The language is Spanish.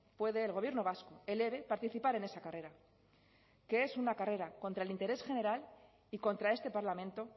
puede el gobierno vasco el eve participar en esa carrera que es una carrera contra el interés general y contra este parlamento